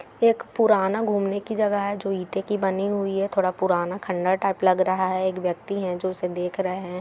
एक पुराना घुमने की जगह है इटो की बनी हुई है पुराना खंदार टाइप लग रहा है एक व्यक्ति है जो उसे देख रहे--